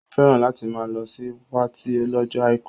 Ó fẹ́ràn láti máa lọ sí patí lọ́jọ́ àìkú